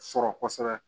Sɔrɔ kɔsɛbɛ